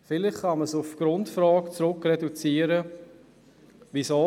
Vielleicht kann dies auf eine Grundfrage reduziert werden: